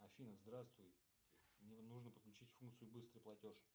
афина здравствуй мне нужно подключить функцию быстрый платеж